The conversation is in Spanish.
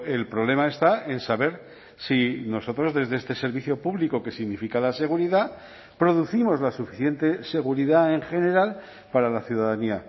el problema está en saber si nosotros desde este servicio público que significa la seguridad producimos la suficiente seguridad en general para la ciudadanía